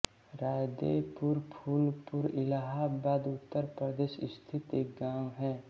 रायदेपुर फूलपुर इलाहाबाद उत्तर प्रदेश स्थित एक गाँव है